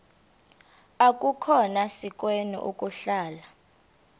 akukhona sikweni ukuhlala